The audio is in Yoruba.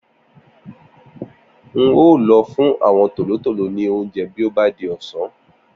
N óò lọ fún àwọn tòlótòló ní oúnjẹ bí ó bá di ọ̀sán